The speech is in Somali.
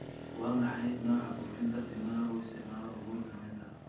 waa maxay nooca buufinta timaha uu isticmaalo uhuru kenyatta